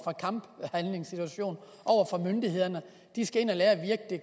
kamphandlingssituation over for myndighederne de skal ind at lære virkdk at